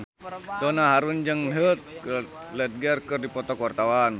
Donna Harun jeung Heath Ledger keur dipoto ku wartawan